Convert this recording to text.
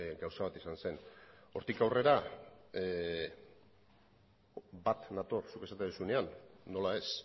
gauza bat izan zen hortik aurrera bat nator zuk esaten duzunean nola ez